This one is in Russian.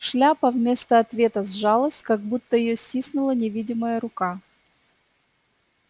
шляпа вместо ответа сжалась как будто её стиснула невидимая рука